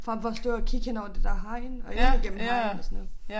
Frem for at stå og kigge henover det der hegn og ind gennem hegnet og sådan noget